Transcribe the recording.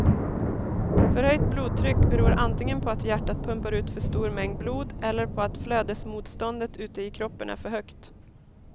Förhöjt blodtryck beror antingen på att hjärtat pumpar ut för stor mängd blod eller på att flödesmotståndet ute i kroppen är för högt.